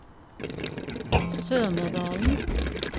Sømådalen